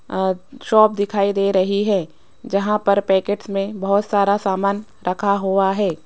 अ shop दिखाई दे रही है जहां पर पैकेट्स में बहुत सारा सामान रखा हुआ है।